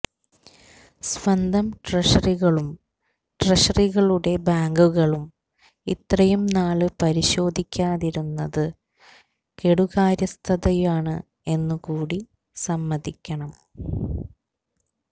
സ്വന്തം ട്രഷറികളും ട്രഷറികളുടെ ബാങ്കുകളും ഇത്രയും നാള് പരിശോധിക്കാതിരുന്നത് കെടുകാര്യസ്ഥതയാണ് എന്നുകൂടി സമ്മതിക്കണം